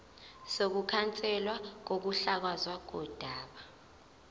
sokukhanselwa kokuhlakazwa kodaba